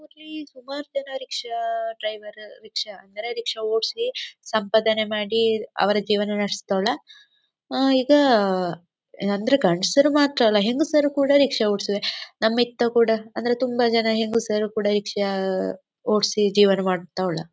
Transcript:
ಇಲ್ಲಿ ಸುಮಾರ್ಜನ rickshaw driver rickshaw ಅಂದರೆ ರಿಕ್ಷಾ ಓಡ್ಸಿ ಸಂಪಾದನೆ ಮಾಡಿ ಅವರ ಜೀವನ ನಡಸ್ತಾರೆ ಈಗ ಅಂದರೆ ಗಂಡಸರು ಮಾತ್ರ ಎಲ್ಲ ಹೆಂಗಸರು ಕೂಡ ರಿಕ್ಷಾ ಓಡಸ್ತಾರೆ ನಮ್ಮಿತ್ತ ಕೂಡ ಅಂದರೆ ತುಂಬಾ ಜನ ಹೆಂಗಸರು ಕೂಡಾ ರಿಕ್ಷಾ ಓಡ್ಸಿ ಜೀವನ ಮಾಡ್ತಾವುಳ್ಳ.